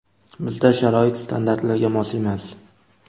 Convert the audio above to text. Bizda sharoit standartlarga mos emas.